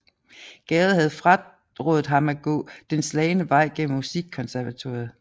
Gade havde frarådet ham at gå den slagne vej gennem Musikkonservatoriet